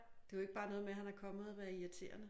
Det er ikke bare noget med at han er kommet og været irriterende